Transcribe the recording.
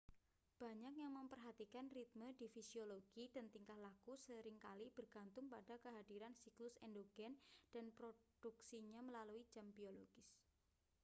banyak yang memperhatikan ritme di fisiologi dan tingkah laku seringkali bergantung pada kehadiran siklus endogen dan produksinya melalui jam biologis